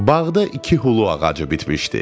Bağda iki hulu ağacı bitmişdi.